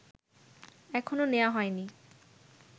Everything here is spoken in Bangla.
এখনো নেয়া হয়নি